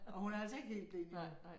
Og hun er altså ikke helt blind endnu